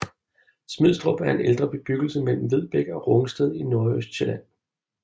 Smidstrup er en ældre bebyggelse mellem Vedbæk og Rungsted i Nordøstsjælland